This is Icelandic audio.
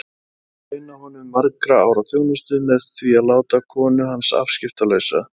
Þeir myndu launa honum margra ára þjónustu með því að láta konu hans afskiptalausa.